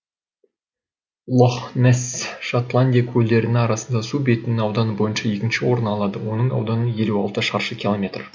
лох несс шотландия көлдерінің арасында су бетінің ауданы бойынша екінші орын алады оның ауданы елу алты шаршы километр